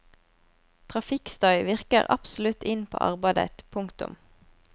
Trafikkstøy virker absolutt inn på arbeidet. punktum